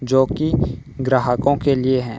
जो कि ग्राहकों के लिए है।